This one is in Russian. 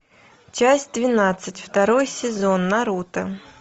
часть двенадцать второй сезон наруто